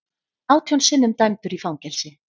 Átján sinnum dæmdur í fangelsi